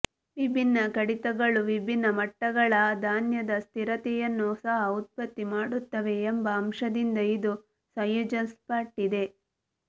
ವಿಭಿನ್ನ ಕಡಿತಗಳು ವಿಭಿನ್ನ ಮಟ್ಟಗಳ ಧಾನ್ಯದ ಸ್ಥಿರತೆಯನ್ನು ಸಹ ಉತ್ಪತ್ತಿ ಮಾಡುತ್ತವೆ ಎಂಬ ಅಂಶದಿಂದ ಇದು ಸಂಯೋಜಿಸಲ್ಪಟ್ಟಿದೆ